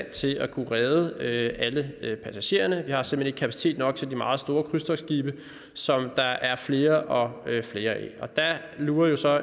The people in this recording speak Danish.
til at kunne redde alle passagererne vi har simpelt kapacitet nok til de meget store krydstogtskibe som der er flere og flere af og der lurer jo så